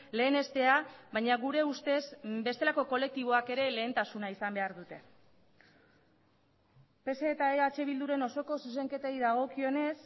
lehenestea baina gure ustez bestelako kolektiboak ere lehentasuna izan behar dute pse eta eh bilduren osoko zuzenketei dagokionez